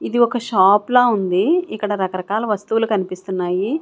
ఒక షాప్ లా ఉంది ఇక్కడ రకరకాల వస్తువులు కన్పిస్తున్నాయి.